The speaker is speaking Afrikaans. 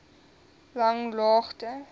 langlaagte